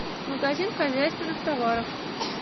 магазин хозяйственных товаров